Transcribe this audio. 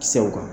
Kisɛw kan